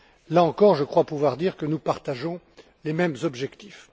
Là encore, je crois pouvoir dire que nous partageons les mêmes objectifs.